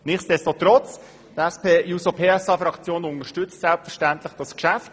Nichtsdestotrotz unterstützt die SP-JUSO-PSA-Fraktion selbstverständlich dieses Geschäft.